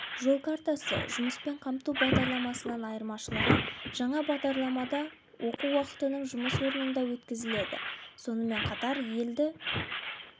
жол картасы жұмыспен қамту бағдарламасынан айырмашылығы жаңа бағдарламада оқу уақытының жұмыс орнында өткізіледі сонымен қатар елді